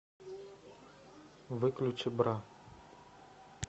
выключи бра